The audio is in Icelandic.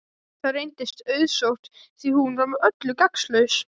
Það reyndist auðsótt því hún var með öllu gagnslaus.